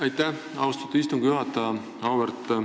Aitäh, austatud istungi juhataja!